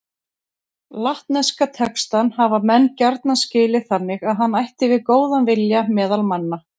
Latneska textann hafa menn gjarna skilið þannig að hann ætti við góðan vilja meðal manna.